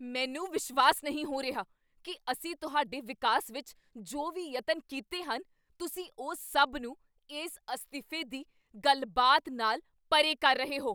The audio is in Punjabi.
ਮੈਨੂੰ ਵਿਸ਼ਵਾਸ ਨਹੀਂ ਹੋ ਰਿਹਾ ਕੀ ਅਸੀਂ ਤੁਹਾਡੇ ਵਿਕਾਸ ਵਿੱਚ ਜੋ ਵੀ ਯਤਨ ਕੀਤੇ ਹਨ, ਤੁਸੀਂ ਉਸ ਸਭ ਨੂੰ ਇਸ ਅਸਤੀਫੇ ਦੀ ਗੱਲਬਾਤ ਨਾਲ ਪਰੇ ਕਰ ਰਹੇ ਹੋ।